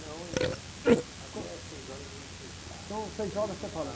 Não, ainda... Até às seis horas a gente...ntão, seis horas você fala.